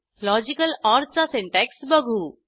logical or चा syntax बघू